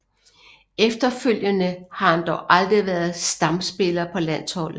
Efterfølgende har han dog aldrig været stamspiller på landsholdet